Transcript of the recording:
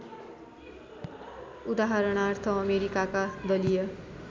उदाहरणार्थ अमेरिकाका दलीय